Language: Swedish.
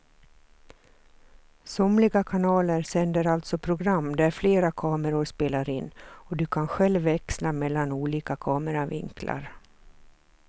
Somliga kanaler sänder alltså program där flera kameror spelar in och du kan själv växla mellan olika kameravinklar.